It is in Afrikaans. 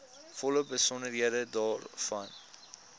volle besonderhede daarvan